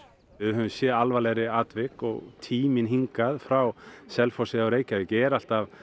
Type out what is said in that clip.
við höfum séð alvarlegri atvik og tíminn hingað frá Selfossi eða Reykjavík er alltaf